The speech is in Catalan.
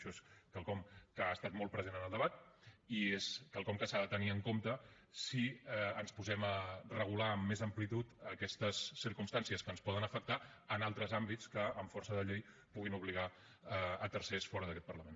això és quelcom que ha estat molt present en el debat i és quelcom que s’ha de tenir en compte si ens posem a regular amb més amplitud aquestes circumstàncies que ens poden afectar en altres àmbits que amb força de llei puguin obligar tercers fora d’aquest parlament